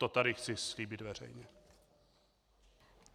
To tady chci slíbit veřejně.